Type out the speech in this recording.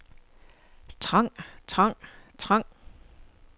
trang trang trang